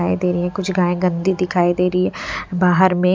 दिखाई दे रही है कुछ गाय गंदी दिखाई दे रही है बाहर में--